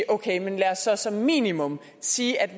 okay men lad os så som minimum sige at vi